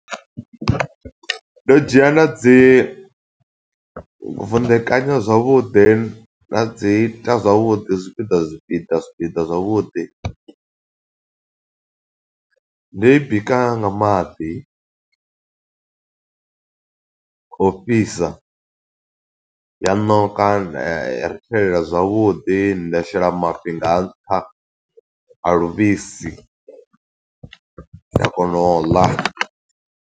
Ndo dzhia nda dzi vunḓekanya zwavhuḓi. Nda dzi ita zwavhuḓi zwipiḓa, zwipiḓa, zwipiḓa zwavhuḓi. Ndo i bika nga maḓi o u fhisa, ya ṋoka, nda i rithelela zwavhuḓi. Nda shela mafhi nga nṱha a luvhisi, nda kona u ḽa.